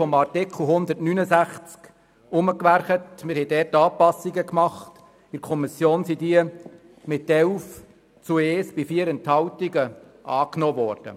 Wir haben Anpassungen vorgeschlagen, welche in der Kommission mit 11 zu 1 Stimmen bei 4 Enthaltungen angenommen wurden.